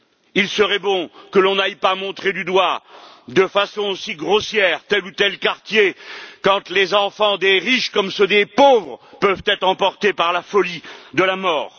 Il serait bon que l'on n'aille pas montrer du doigt de façon aussi grossière tel ou tel quartier quand les enfants des riches comme ceux des pauvres peuvent être emportés par la folie de la mort.